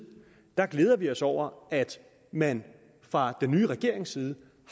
glæder vi os over at man fra den nye regerings side